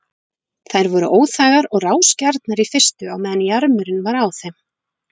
Þær voru óþægar og rásgjarnar í fyrstu á meðan jarmurinn var á þeim.